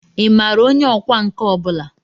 Ị maara onye ọkwá nkà ọ bụla?